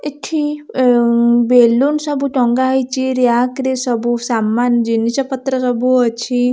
ଏଠି ବେଲୁନ ସବୁ ଟଙ୍ଗା ହେଇଚି। ରିୟାକ ରେ ସବୁ ସାମାନ ଜିନିଷ ପତ୍ର ସବୁ ଅଛି।